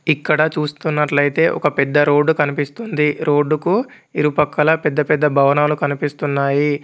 ఇక్కడ చూస్తున్నట్లయితే ఒక పెద్ద రోడ్డు కనిపిస్తుంది రోడ్డు కు ఇరుపక్కల పెద్ద పెద్ద భవనాలు కనిపిస్తున్నాయి.